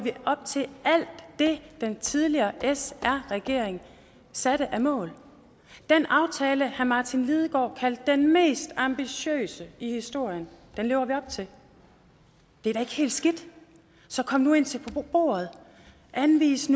vi op til alt det den tidligere sr regering satte af mål den aftale herre martin lidegaard kaldte den mest ambitiøse i historien lever vi op til det er da ikke helt skidt så kom nu ind til bordet og anvis